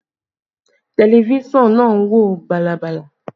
Tẹlifísàn náà ń wò bàlàbàlà